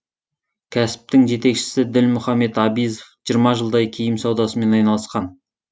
кәсіптің жетекшісі ділмұхамед абизов жиырма жылдай киім саудасымен айналысқан